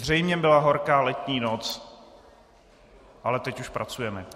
Zřejmě byla horká letní noc, ale teď už pracujeme.